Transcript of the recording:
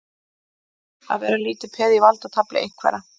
Að vera lítið peð í valdatafli einhverra